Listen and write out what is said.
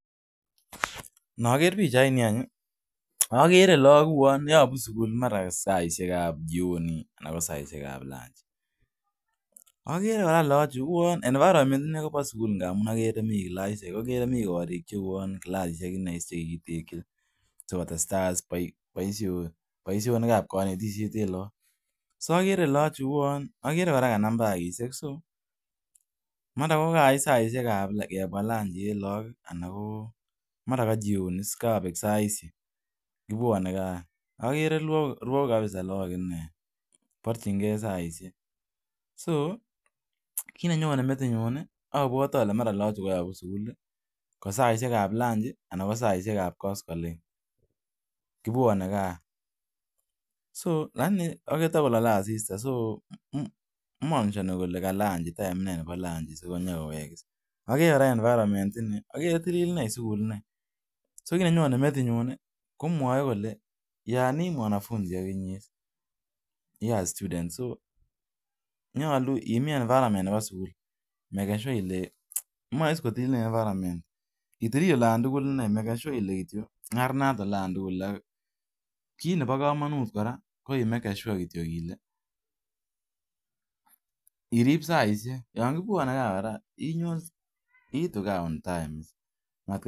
Mi logok che bunu sugul, mara saishek ab jioni anan ko saishek ab lanji. Agere kora logok chu, environment uan kole mi kilasisiek. Tesetai baisyonik ap kanetishet ap lagok. Mara kagoit saishek ab lanji nebo lagok.